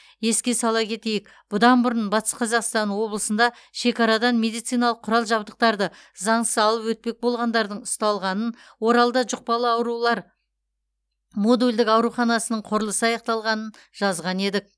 еске сала кетейік бұдан бұрын батыс қазақстан облысында шекарадан медициналық құрал жабдықтарды заңсыз алып өтпек болғандардың ұсталғанын оралда жұқпалы аурулар модульдік ауруханасының құрылысы аяқталғанын жазған едік